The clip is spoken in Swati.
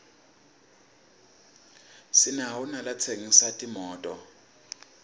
sinawo nalatsengisa timoto